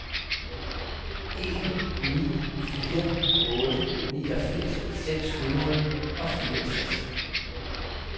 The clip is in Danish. en ni fire otte niogfirs seks hundrede og fireogtres